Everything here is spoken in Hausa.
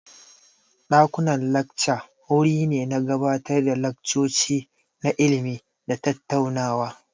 Dakunan lacca wuri ne na gabatar da laccoci na ilimi da tattaunawa.